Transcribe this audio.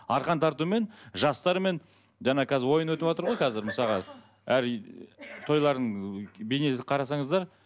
арқан тартумен жастармен жаңа қазір ойын өтіватыр ғой қазір мысалға тойлардың бейнесін қарасаңыздар